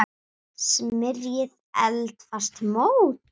Smyrjið eldfast mót.